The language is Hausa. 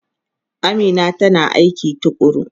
Amina tana aiki tukuru.